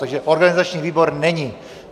Takže organizační výbor není.